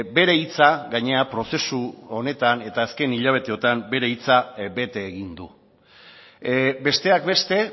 bere hitza gainera prozesu honetan eta azken hilabeteotan bete egin du besteak beste